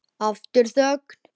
Aftur þögn.